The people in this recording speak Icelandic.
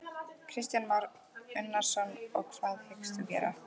Kristján Már Unnarsson: Og hvað hyggst þú gera?